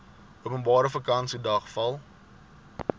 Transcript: openbare vakansiedag val